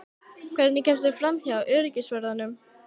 Hvernig kemstu framhjá öryggisvörðunum?